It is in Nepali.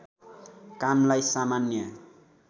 कामलाई सामान्य